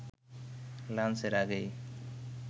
লাঞ্চের আগেই